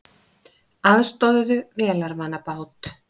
Aðstoðuðu vélarvana bát